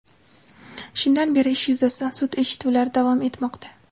Shundan beri ish yuzasidan sud eshituvlari davom etmoqda.